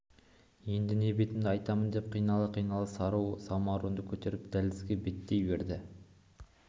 енді не бетімді айттым деп қинала-қинала сары самаурынды көтеріп дәлізге беттей берді